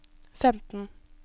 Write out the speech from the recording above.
femten